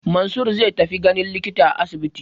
Mansur zai tafi ganin likita a asibiti.